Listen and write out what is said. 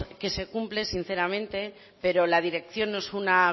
que se cumpla sinceramente pero la dirección no es una